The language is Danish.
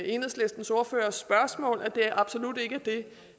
enhedslistens ordførers spørgsmål at det absolut ikke